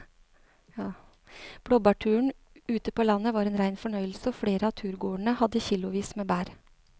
Blåbærturen ute på landet var en rein fornøyelse og flere av turgåerene hadde kilosvis med bær.